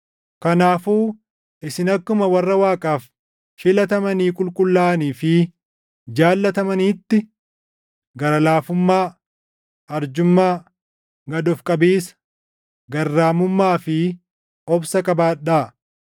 Kanaafuu isin akkuma warra Waaqaaf filatamanii qulqullaaʼanii fi jaallatamaniitti, gara laafummaa, arjummaa, gad of qabiisa, garraamummaa fi obsa qabaadhaa.